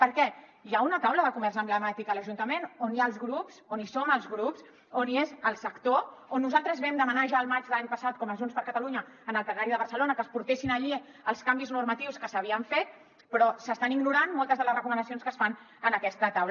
per què hi ha una taula de comerç emblemàtic a l’ajuntament on hi ha els grups on hi som els grups on hi és el sector on nosaltres vam demanar ja al maig de l’any passat com a junts per catalunya en el plenari de barcelona que es portessin allí els canvis normatius que s’havien fet però s’estan ignorant moltes de les recomanacions que es fan en aquesta taula